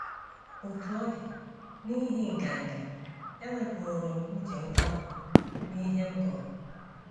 Otú ọ dị, n’ihi nganga, ewepụrụ m uche ngwa ngwa n’ihe m gụrụ.